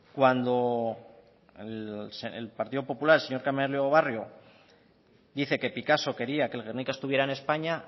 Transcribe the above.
cuando el partido popular el señor carmelo barrio dice que picasso quería que el guernica estuviera en españa